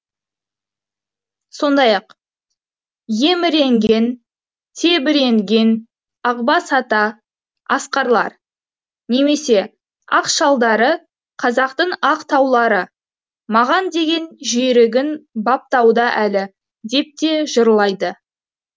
сондай ақ еміренген тебіренген ақбас ата асқарлар немесе ақ шалдары қазақтың ақ таулары маған деген жүйрігін баптауда әлі деп те жырлайды